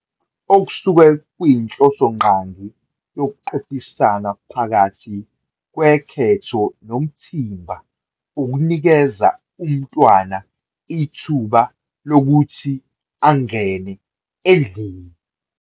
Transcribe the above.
Okusuke kuyinhlosongqangi yokuqophisana phakathi kwekhetho nomthimba ukunikeza umntwana ithuba lokuthi angene endlini.